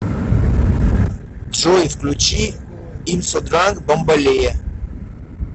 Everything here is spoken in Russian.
джой включи имсодранк бамболея